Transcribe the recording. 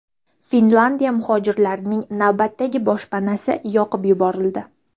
Finlyandiyada muhojirlarning navbatdagi boshpanasi yoqib yuborildi.